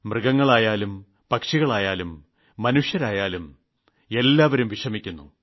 മൃഗങ്ങളായാലും പക്ഷികളായാലും മനുഷ്യരായാലും എല്ലാവരും വിഷമിക്കുന്നു